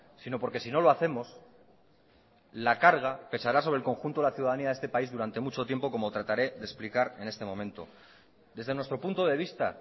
sino porque sino lo hacemos la carga pesará sobre el conjunto de la ciudadanía de este país durante mucho tiempo como trataré de explicar en este momento desde nuestro punto de vista